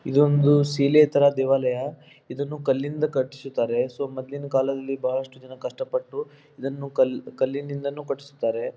ಇದೊಂದು ಸಿಲೆ ತರ ದೇವಲಾಯ. ಇದನ್ನು ಕಲ್ಲಿಂದ ಕಟಿಸಿದ್ದಾರೆ ಸೊ ಮೊದ್ಲಿನ್ಡ್ ಕಾಲದಲ್ಲಿ ಬಹಳಷ್ಟು ಕಷ್ಟಪಟ್ಟು ಇದನ್ನು ಕಲ್ ಕಲ್ಲುನಿಂದಲೂ ಕಟ್ಟಿಸ್ತಾರೆ.